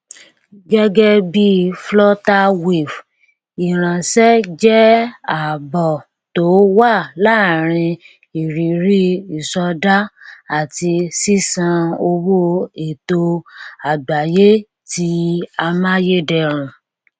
gẹgẹ bíi flutterwave ìránṣẹ jẹ àbọ tó wà lórí ìrírí ìsọdá àti sísan owó ètò àgbáyé ti amáyédẹrùn